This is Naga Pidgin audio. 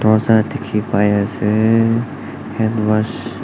dorja dikhi pai ase handwash --